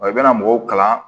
Wa i bɛna mɔgɔw kalan